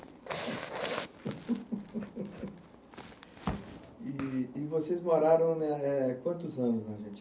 E vocês moraram na, eh quantos anos na Argentina?